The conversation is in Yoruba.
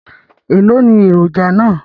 Èló ni èròjà náà?